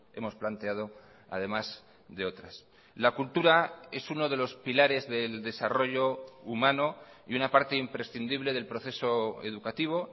hemos planteado además de otras la cultura es uno de los pilares del desarrollo humano y una parte imprescindible del proceso educativo